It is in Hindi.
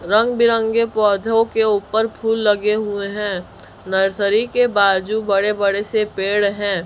रंग बिरंगे पौधों के ऊपर फूल लगे हुए है नर्सरी के बाजू बड़े बड़े से पेड़ हैं।